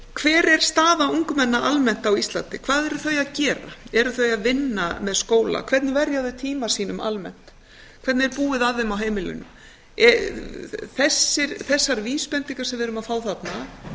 hver er staða ungmenna almennt á íslandi hvað eru þau að gera eru þau að vinna með skóla hvernig verja þau tíma sínum almennt hvernig er búið að þeim á heimilunum þessar vísbendingar sem við erum að fá þarna